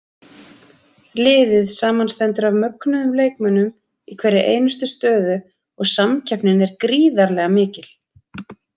Liðið samanstendur af mögnuðum leikmönnum í hverri einustu stöðu og samkeppnin er gríðarlega mikil.